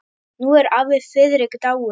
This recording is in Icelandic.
Nú er afi Friðrik dáinn.